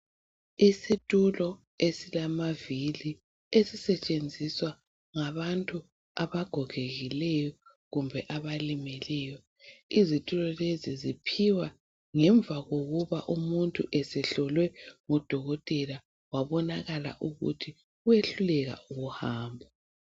Isitulo esilamavili ezisetshenziswa ngabantu abagogekileyo kumbe abalimeleyo, izitulo lezi ziphiwa ngemva kokuba umuntu esehlolwe ngodokotela wabonakala ukuthi wehluleka ukuhamba.